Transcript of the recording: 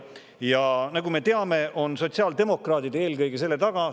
Ja nagu me teame, on selle taga eelkõige sotsiaaldemokraadid.